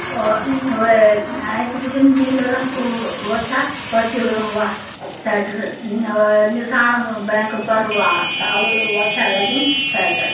और वै एंच बटिन नीला रंग कु व छा पट्टी व-वा सैटर न अ निसाण मु बैंक पर वा कालू व छ लग्युं सैटर ।